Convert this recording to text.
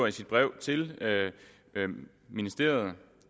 i sit brev til ministeriet